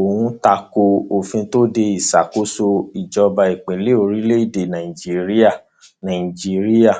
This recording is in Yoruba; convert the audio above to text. ó takò òfin tó de ìṣàkóso ìjọba ìbílẹ lórílẹèdè nàíjíríà nàíjíríà